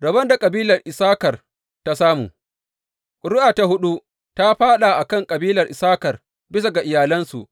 Rabon da kabilar Issakar ta samu Ƙuri’a ta huɗu ta fāɗa a kan kabilar Issakar, bisa ga iyalansu.